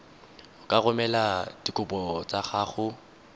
ka romela dikopo tsa gago